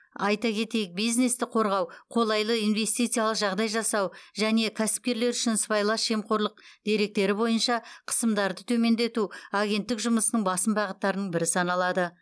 айта кетейік бизнесті қорғау қолайлы инвестициялық жағдай жасау және кәсіпкерлер үшін сыбайлас жемқорлық деректері бойынша қысымдарды төмендету агенттік жұмысының басым бағыттарының бірі саналады